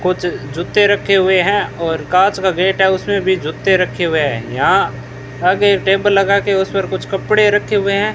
कुछ जूते रखे हुए हैं और कांच का गेट है उसमें भी जूते रखे हुए हैं यहां आगे टेबल लगाके उसपे कुछ कपड़े रखे हुए हैं।